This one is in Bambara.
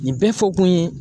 Nin bɛɛ fɔ kun ye